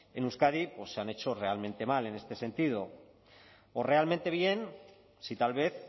en euskadi pues se han hecho realmente mal en este sentido o realmente bien si tal vez